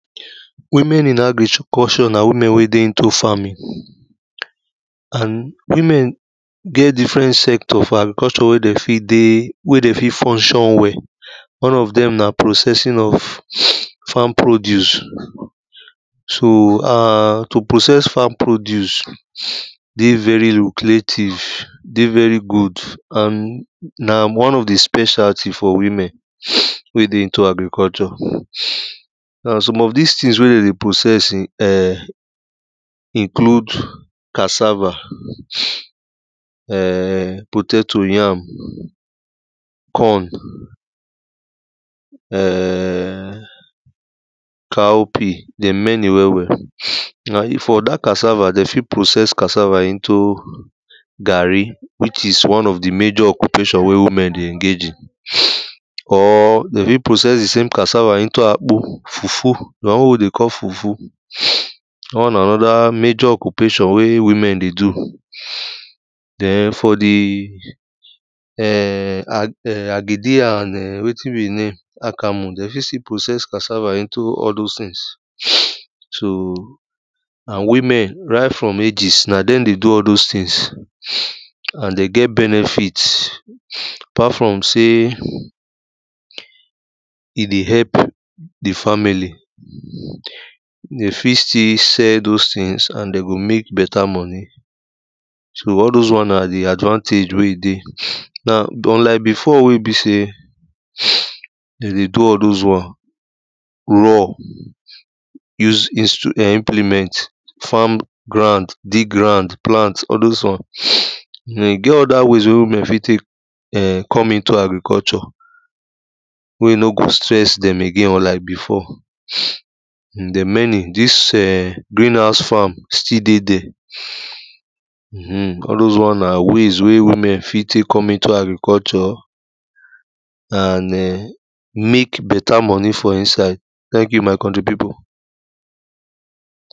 women in agriculture na women wey dey into farming and women get different sector for agriculture wey de fit dey wey dey fit funtion well and one of dem na processing of farm produce. so and to process farm produce dey very lucrative, dey very good and na one of di specialty for women wey dey into agriculture. na some of dis things wey dey dey process um include cassava um potato, yam, corn um cowpea, dem many well wel. for dat casava, den fit process cassava into garri which is what women dey engage in or dem fit process di cassava into akpu, fufu so won wey dey call fufu, dat won na major ocupation wey women de do. den for di um agidi and um wetin be e name akamu, den fit still process cassava into all those things so na women right from ages na dem dey do all those things and den get benefit apart from say e dey help di family, de fit still sell those things and de go mek beta moni so all those won na di advantage wey e dey. but unlike before wey e be sey de dey do all those won raw, use impliment, fam ground, dig ground all those wan, but e get other ways wey women fit tek come into agricutulture, wey e n go stress dem again unlike before dem many dis um green house farm still dey there, um all those won na ways wey women fit tek come into agriculture, mek beta moni for inside, thank you my country pipu.